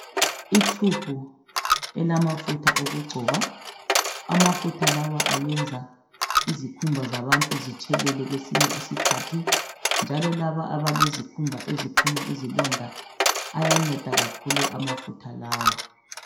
i tube elamafutha okugcoba amafutha lawa ayenza izikhumba zabantu zitshelele kwesinye isikhathi njalo laba abalezikhumba eziphuma izilonda ayanceda kakhulu amafutha lawa